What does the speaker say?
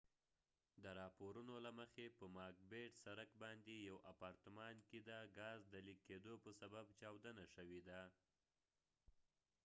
د راپورونو له مخی په ماک بیت سرک macbeth street باندي یو اپارتمان کې د ګاز د لیک کېدو په سبب چاودنه شوي ده